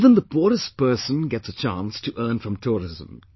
Even the poorest person gets a chance to earn from tourism